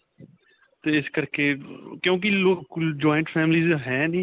'ਤੇ ਇਸ ਕਰਕੇ ਕਿਉਂਕਿ ਲੋਕ joint family ਦੇ ਹੈ ਨਹੀਂ.